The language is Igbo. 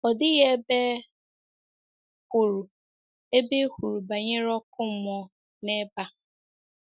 Ọ dịghị ebe e kwuru ebe e kwuru banyere ọkụ mmụọ n’ebe a.